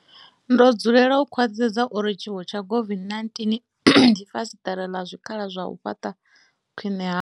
Ndo dzulela u khwaṱhisedza uri tshiwo tsha COVID-19 ndi fasiṱere ḽa zwikhala zwa u fhaṱa khwiṋe hafhu.